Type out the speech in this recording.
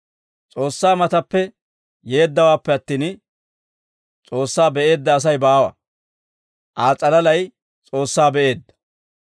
S'oossaa matappe yeeddawaappe attin, S'oossaa be'eedda Asay baawa; Aa s'alalay S'oossaa be'eedda.